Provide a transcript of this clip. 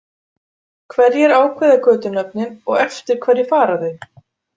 Hverjir ákveða götunöfnin og eftir hverju fara þau?